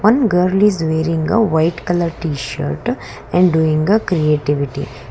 one girl is wearing a white colour tshirt and doing a creativity.